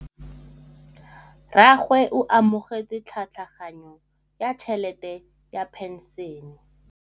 Rragwe o amogetse tlhatlhaganyô ya tšhelête ya phenšene.